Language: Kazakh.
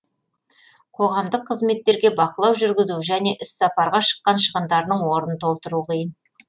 қоғамдық қызметтерге бақылау жүргізу және іс сапарға шыққан шығындарының орнын толтыру қиын